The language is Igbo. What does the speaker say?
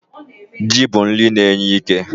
Ji bụ nri na-enye ike.